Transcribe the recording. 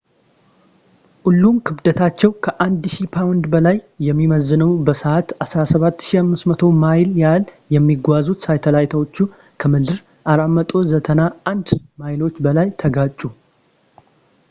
ሁለቱም ክብደታቸው ከ 1000 ፓውንድ በላይ የሚመዝነው በሰዓት 17,500 ማይል ያህል የሚጓዙት ሳተላይቶቹ ከምድር 491 ማይሎች በላይ ተጋጩ